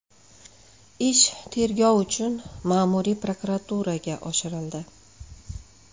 Ish tergov uchun ma’muriy prokuraturaga oshirildi.